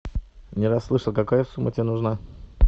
не расслышал какая сумма тебе нужна